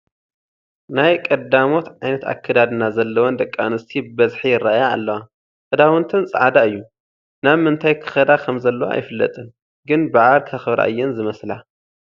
ናይ ቀዳሞት ዓይነት ኣከዳድና ዘለወን ደቂ ኣንስትዮ ብበዝሒ ይርአያ ኣለዋ፡፡ ክዳውንተን ፃዕዳ እዩ፡፡ ናብምንታይ ክኸዳ ከምዘለዋ ኣይፍለጥን፡፡ ግን በዓል ከኽብራ እየን ዝመስላ፡፡